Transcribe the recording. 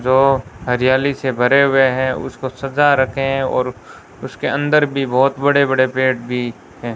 जो हरियाली से भरे हुए हैं उसको सजा रखे हैं और उसके अंदर भी बहोत बड़े बड़े पेड़ भी हैं।